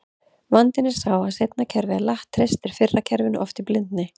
Vandinn er sá að seinna kerfið er latt, treystir fyrra kerfinu oft í blindni.